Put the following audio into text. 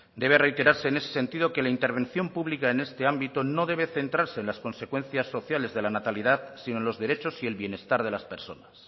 debe reiterarse en ese sentido que la intervención pública en este ámbito no debe centrarse en las consecuencias sociales de la natalidad sino en los derechos y el bienestar de las personas